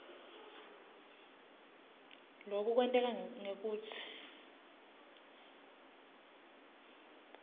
loku kwenteka ngekutsi